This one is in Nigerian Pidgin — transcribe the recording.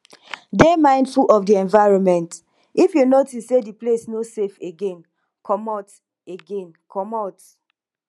dey mindful of di environment if you notice sey di place no safe again comot again comot